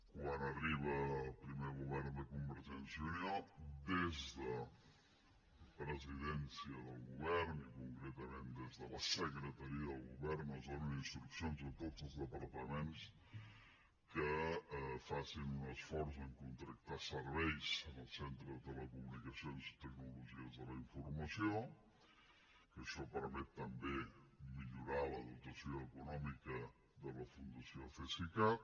quan arriba el primer govern de convergència i unió des de presidència del govern i concretament des de la secretaria del govern es donen instruccions a tots els departaments que facin un esforç per contractar serveis al centre de telecomunicacions i tecnologies de la informació que això permet també millorar la dotació econòmica de la fundació cesicat